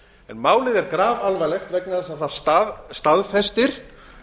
málið er grafalvarlegt vegna þess að það staðfestir